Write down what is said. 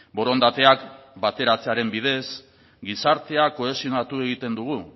borondateak bateratzearen bidez gizartea kohesionatu egiten dugu